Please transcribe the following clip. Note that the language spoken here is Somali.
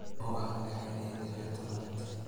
oo ah madaxweynihii lix iyo tobnaad